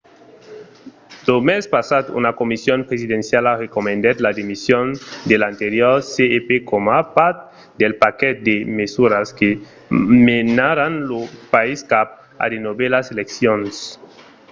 lo mes passat una comission presidenciala recomandèt la demission de l'anterior cep coma part del paquet de mesuras que menaràn lo país cap a de novèlas eleccions